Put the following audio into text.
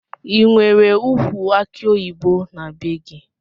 Inwere ukwu aki oyibo na bee gi?